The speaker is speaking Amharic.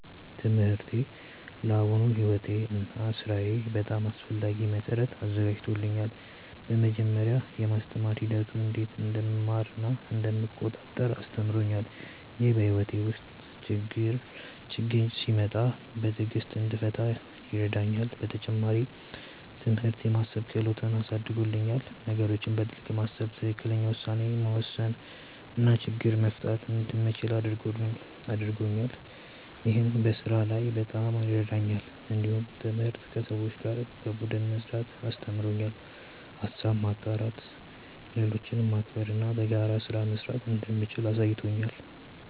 ትምህርቴ ለአሁኑ ሕይወቴ እና ሥራዬ በጣም አስፈላጊ መሠረት አዘጋጅቶኛል። በመጀመሪያ፣ የማስተማር ሂደቱ እንዴት እንደምማር እና እንደምቆጣጠር አስተምሮኛል። ይህ በሕይወቴ ውስጥ ችግኝ ሲመጣ በትዕግሥት እንድፈታ ይረዳኛል። በተጨማሪም፣ ትምህርት የማሰብ ክህሎትን አሳድጎልኛል። ነገሮችን በጥልቅ ማሰብ፣ ትክክለኛ ውሳኔ መውሰድ እና ችግኝ መፍታት እንደምችል አድርጎኛል። ይህ በስራ ላይ በጣም ይረዳኛል። እንዲሁም ትምህርት ከሰዎች ጋር በቡድን መስራትን አስተምሮኛል። ሀሳብ ማጋራት፣ ሌሎችን ማክበር እና በጋራ ስራ መስራት እንደምችል አሳይቶኛል።